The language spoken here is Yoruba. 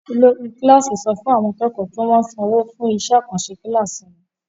Olórí kíláásì sọ fún àwọn akẹ́kọ̀ọ́ kí wọ́n sanwó fún iṣẹh-àkànṣẹ kíláásì wọn.